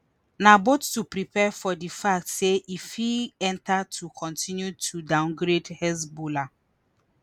na both to prepare for di fact say e fit enta to kontinu to downgrade hezbollah